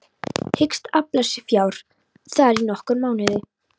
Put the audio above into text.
Hyggst afla sér fjár þar í nokkra mánuði.